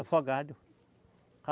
Afogado.